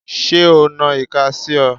Ṣé o na ìka sí ọ?